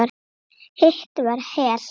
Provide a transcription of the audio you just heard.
Hitt var Hel.